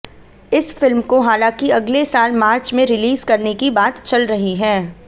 इस फिल्म को हालांकि अगले साल मार्च में रिलीज करने की बात चल रही है